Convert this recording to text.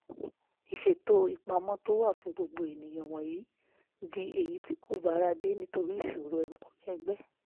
ìṣètò ìpamọ́ tó wà fún gbogbo ènìyàn wọ̀nyí di èyí tí kò bára dé nítorí ìṣòro ọmọ ẹgbẹ́